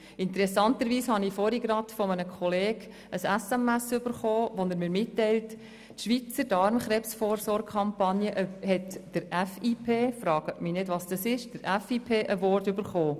Interessanterweise habe ich vorhin gerade von einem Kollegen eine SMS erhalten, worin er mir mitteilte, dass die Schweizer Darmkrebsvorsorge-Kampagne den Award der International Pharmaceutical Federation (FIP) erhalten habe.